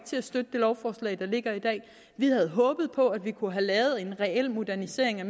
til at støtte det lovforslag der ligger i dag vi havde håbet på at vi kunne have lavet en reel modernisering af